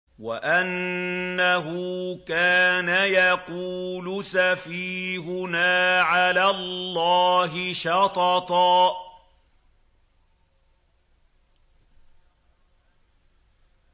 وَأَنَّهُ كَانَ يَقُولُ سَفِيهُنَا عَلَى اللَّهِ شَطَطًا